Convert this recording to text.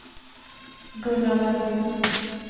Gunnar Landin